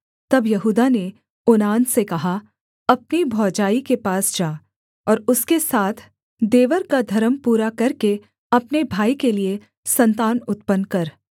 तब यहूदा ने ओनान से कहा अपनी भौजाई के पास जा और उसके साथ देवर का धर्म पूरा करके अपने भाई के लिये सन्तान उत्पन्न कर